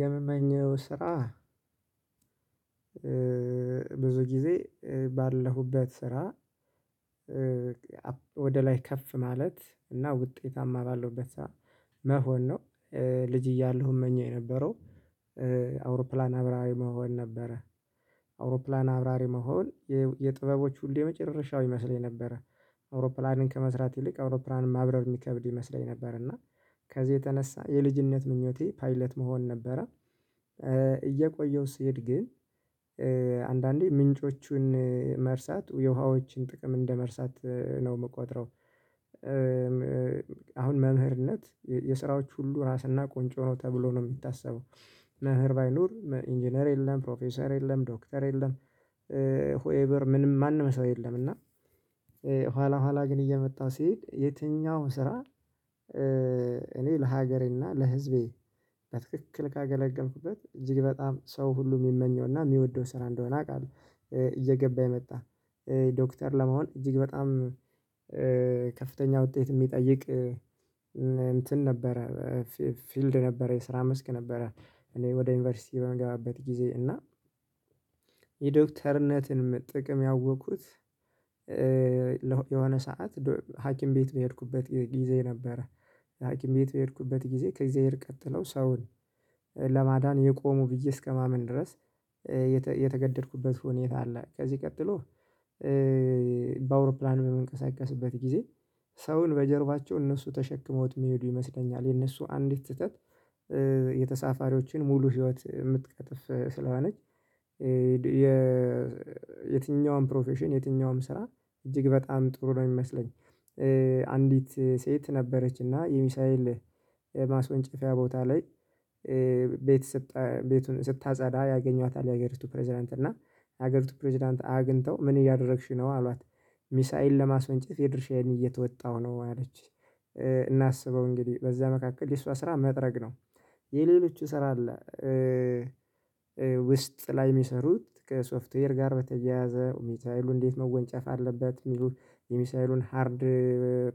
የምመኘው ስራ ብዙ ጊዜ ባለሁበት ስራ ወደ ላይ ከፍ ማለት እና ውጤታማ ባለሁበት ስራ መሆን ነው። ልጅ እያለሁ እመኘው የነበረው አውሮፕላን አብራሪ መሆን ነበረ። አውሮፕላን አብራሪ መሆን የጥበቦች ሁሉ የመጨረሻው ይመስለኝ ነበረ። አውሮፕላንን ከመስራት ይልቅ አውሮፕላንን ማብረር የሚከብድ ይመስለኝ ነበር እና ከዚህ የተነሳ የልጅነት ምኞቴ ፓይለት መሆን ነበረ። እየቆየሁ ሲሄድ ግን አንዳንዴ ምንጮቹን መርሳት የውሃዎችን ጥቅም እንደመርሳት ነው የምቆጥረው። አሁን መምህርነት የስራዎች ሁሉ ራስና ቁንጭ ሆኖ ተብሎ ነው የሚታሰበው። መምህር ባይኖር ኢንጂነር የለም ፕሮፌሰር የለም ዶክተር የለም። ሁኤቨር ምንም ማንም ሰው የለም። እና ኋላ ኋላ ግን እየመጣሁ ስሄድ የትኛውም ስራ እኔ ለሀገሬና ለህዝቤ በትክክል ካገለገልኩበት እጅግ በጣም ሰው ሁሉ የሚመኘውና የሚወደው ስራ እንደሆነ አውቃለሁ። እየገባኝ መጣ። ዶክተር ለመሆን እጅግ በጣም ከፍተኛ ውጤት የሚጠይቅ እንትን ነበረ ፊልድ ነበረ የስራ መስክ ነበረ እኔ ወደ ዩኒቨርሲቲ በምገባበት ጊዜ እና የዶክተርነትን ጥቅም ያወቅኩት። የሆነ ሰዓት ሀኪም ቤት በሄድኩበት ጊዜ ነበረ። ሀኪም ቤት በሄድኩበት ጊዜ ከእግዚአብሔር ቀጥለው ሰውን ለማዳን የቆሙ ብዬ እስከማምን ድረስ የተገደድኩበት ሁኔታ አለ። ከዚህ ቀጥሎ በአውሮፕላን በመንቀሳቀስበት ጊዜ ሰውን በጀርባቸው እነሱ ተሸክመውት የሚሄዱ ይመስለኛል የነሱ አንዲት ስህተት የተሳፋሪዎችን ሙሉ ህይወት የምትቀጥፍ ስለሆነች። የትኛውም ፕሮፌሽን የትኛውም ስራ እጅግ በጣም ጥሩ ነው የሚመስለኝ። አንዲት ሴት ነበረች እና የሚሳይል ማስወንጨፊያ ቦታ ላይ ቤት ስታጸዳ ያገኟታል የሀገሪቱ ፕሬዝዳንት እና የሀገሪቱ ፕሬዝዳንት አግኝተው ምን እያደረግሽው ነው አሏት? ሚሳኤል ለማስወንጨፍ የድርሻዬን እየተወጣሁ ነው አለች። እና አስበው እንግዲህ በዚያ መካከል የሷ ስራ መጥረግ ነው የሌሎች ስራ አለ። ውስጥ ላይ የሚሰሩት ከሶፍትዌር ጋር በተያያዘ ሚሳይሉን እንዴት መወንጨፍ አለበት የሚሉት የሚሳይሉን ሃርድ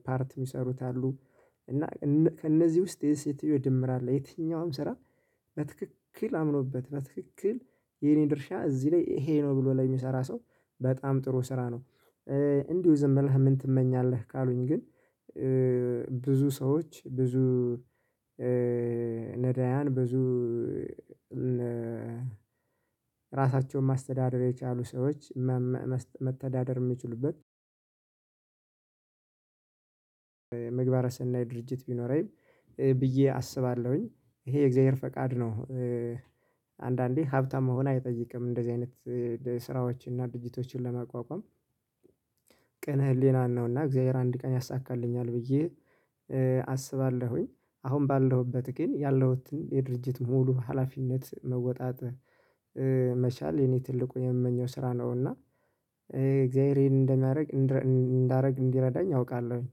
ፓርት የሚሰሩት አሉ። እና ከእነዚህ ውስጥ የዚች ሴትዮ ድምር አለ የትኛውም ስራ በትክክል አምኖበት በትክክል የኔ ድርሻ እዚህ ላይ ይሄ ነው ብሎ ለሚሰራ ሰው በጣም ጥሩ ስራ ነው። እንዲሁ ዝም ብለህ ምን ትመኛለህ ካሉኝ ግን? ብዙ ሰዎች ብዙ ነዳያን ብዙ ራሳቸውን ማስተዳደር የቻሉ ሰዎች መተዳደር የሚችሉበት ምግባረ ስናይ ድርጅት ቢኖረኝ ብዬ አስባለሁኝ ይሄ የእግዚአብሔር ፈቃድ ነው። አንዳንዴ ሀብታም መሆን አይጠይቅም እንደዚህ አይነት ስራዎችን እና ድርጅቶችን ለማቋቋም ቅን ህሊናን ነውና እግዚአብሔር አንድ ቀን ያሳካልኛል ብዬ አስባለሁኝ። አሁን ባለሁበት ግን ያለሁትን የድርጅት ሙሉ ሀላፊነት መወጣት መቻል የኔ ትልቁን የምመኘው ስራ ነውና። እግዚአብሔር ይሄን እንደሚያደርግ እንዳደርግ እንዲረዳኝ አውቃለሁኝ